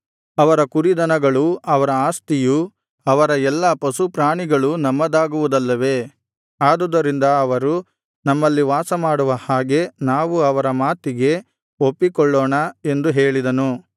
ಅವರ ಕುರಿದನಗಳೂ ಅವರ ಆಸ್ತಿಯೂ ಅವರ ಎಲ್ಲಾ ಪಶುಪ್ರಾಣಿಗಳೂ ನಮ್ಮದಾಗುವುದಲ್ಲವೇ ಆದುದರಿಂದ ಅವರು ನಮ್ಮಲ್ಲಿ ವಾಸಮಾಡುವ ಹಾಗೆ ನಾವು ಅವರ ಮಾತಿಗೆ ಒಪ್ಪಿಕೊಳ್ಳೋಣ ಎಂದು ಹೇಳಿದನು